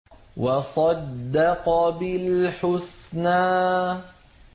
وَصَدَّقَ بِالْحُسْنَىٰ